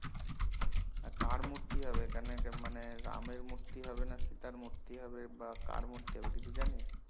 কার মূর্তি হবে এখানে মানে রামের মূর্তি হবে না কি সীতার মূর্তি হবে বা কার মূর্তি হবে কিছু জানিস?